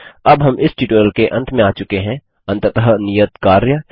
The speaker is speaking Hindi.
अब हम इस ट्यूटोरियल के अंत में आ चुके हैं अंततः नियत कार्य